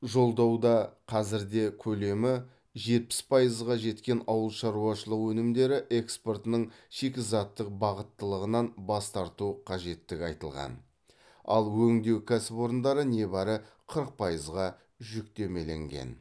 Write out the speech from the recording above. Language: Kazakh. жолдауда қазірде көлемі жетпіс пайызға жеткен ауыл шаруашылығы өнімдері экспортының шикізаттық бағыттылығынан бас тарту қажеттігі айтылған ал өңдеу кәсіпорындары небәрі қырық пайызға жүктемеленген